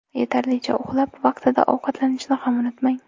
Yetarlicha uxlab, vaqtida ovqatlanishni ham unutmang.